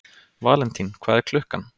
Valentín, hvað er klukkan?